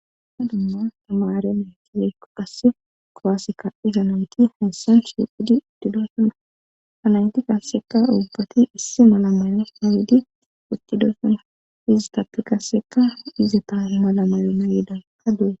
ana dumma tamare metizekko qass kowaseka izanayti hessan shuqhudi uttidosuna anayti k asseka ubbati issi mala mayo nawidi uttidosona izi tapti kasseka izeta malamayo nayidan ka du7e